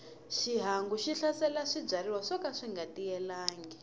xihangu xi hlasela swibyariwa swoka swinga tiyelangi